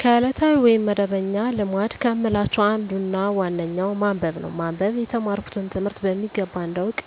ከዕለታዊ ወይም መደበኛ ልማድ ከምላቸው አንዱና ዋነኛው ማንበብ ነው። ማንበብ የተማርኩትን ትምህርት በሚገባ እንዳውቅ